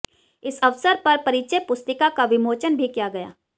इस अवसर पर परिचय पुस्तिका का विमोचन भी किया गया